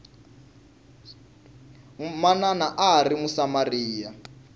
manana a a ri musamariya